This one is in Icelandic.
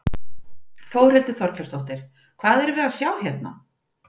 Þórhildur Þorkelsdóttir: Hvað erum við að sjá hérna?